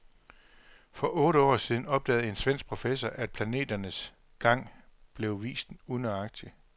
For otte år siden opdagede en svensk professor, at planeternes gang blev vist unøjagtigt.